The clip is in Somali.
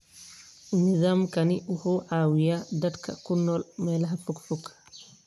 Nidaamkani wuxuu caawiyaa dadka ku nool meelaha fogfog.